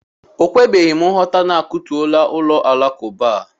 O kwebeghịm nghọta na-akụtuola ụlọ alakụba a.